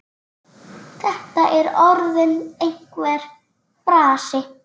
Þetta er orðinn einhver frasi.